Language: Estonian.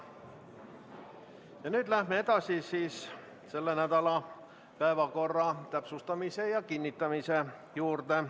Ja nüüd läheme selle nädala päevakorra täpsustamise ja kinnitamise juurde.